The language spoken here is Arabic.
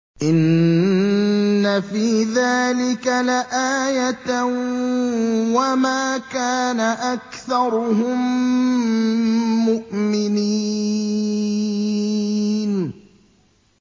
إِنَّ فِي ذَٰلِكَ لَآيَةً ۖ وَمَا كَانَ أَكْثَرُهُم مُّؤْمِنِينَ